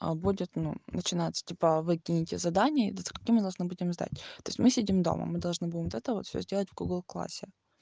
а будет ну начинаться типа вы кините задание и до скольки мы должны будем сдать то есть мы сидим дома мы должны будем это вот всё сделать в гугл классе